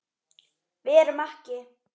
Við erum ekki.